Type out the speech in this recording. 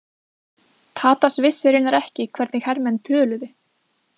Tadas vissi raunar ekki hvernig hermenn töluðu.